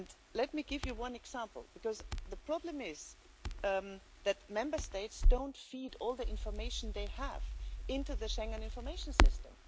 Let me give you one example, because the problem is that Member States don't feed all the information they have into the Schengen Information System.